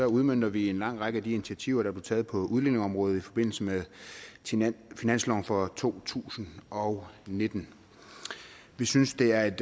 udmønter vi en lang række af de initiativer der blev taget på udlændingeområdet i forbindelse med finansloven for to tusind og nitten vi synes det er et